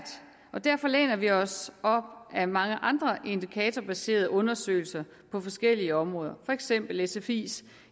derfor læner vi os op ad mange andre indikatorbaserede undersøgelser på forskellige områder for eksempel sfis